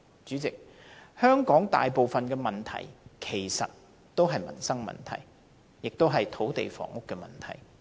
主席，香港大部分問題其實是民生問題，也是土地房屋問題。